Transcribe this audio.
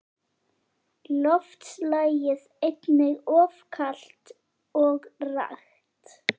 Loftslagið einnig of kalt og rakt.